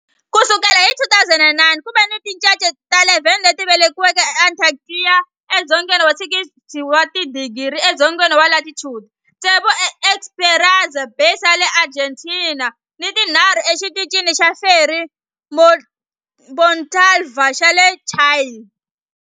Ku sukela hi 2009, ku ve ni tincece ta 11 leti velekiweke eAntarctica edzongeni wa 60 wa tidigri edzongeni wa latitude, tsevu eEsperanza Base ya le Argentina ni tinharhu eXitichini xa Frei Montalva xa le Chile.